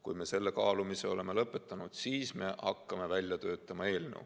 Kui me selle kaalumise oleme lõpetanud, siis me hakkame välja töötama eelnõu.